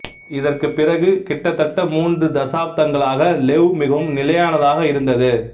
இதற்குப் பிறகு கிட்டத்தட்ட மூன்று தசாப்தங்களாக லெவ் மிகவும் நிலையானதாக இருந்தது